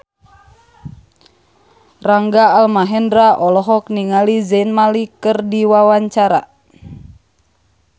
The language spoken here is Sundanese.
Rangga Almahendra olohok ningali Zayn Malik keur diwawancara